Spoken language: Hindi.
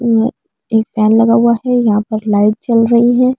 एक एक फैन हुआ हैयहां पर लाइट जल रही है।